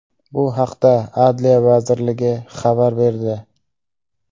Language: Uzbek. Bu haqda Adliya vazirligi xabar berdi .